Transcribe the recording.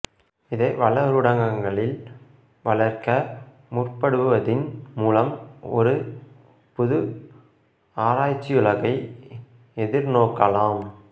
இதை வளரூடகங்களில் வளர்க்க முற்படுவதின் மூலம் ஒரு புது ஆராய்ச்சியுலகை எதிர்நோக்கலாம்